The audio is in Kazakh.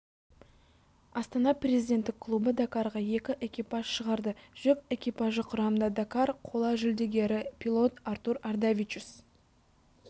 астана президенттік клубы дакарға екі экипаж шығарды жүк экипажы құрамында дакар қола жүлдегері пилот артур ардавичус